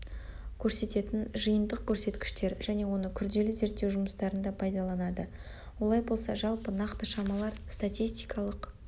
көрсететін жиынтық көрсеткіштер және оны күрделі зерттеу жұмыстарында пайдаланады олай болса жалпы нақты шамалар статистикалық